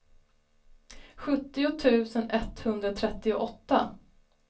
sjuttio tusen etthundratrettioåtta